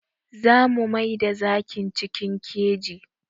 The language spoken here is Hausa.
Za mu maida zakin cikin keji.